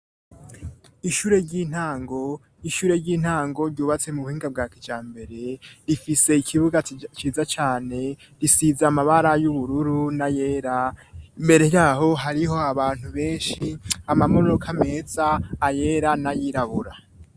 ishure ry'intango ishure ry'intango ryubatse mu buhinga bwakijambere rifise ikibuga ciza cane risize amabara y'ubururu na yera imbere yaho hariho abantu benshi ama modoka meza ayera na yirabura